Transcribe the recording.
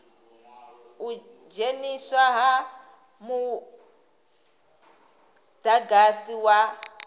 u dzheniswa ha mudagasi wa